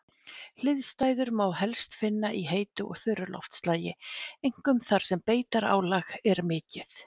Hliðstæður má helst finna í heitu og þurru loftslagi, einkum þar sem beitarálag er mikið.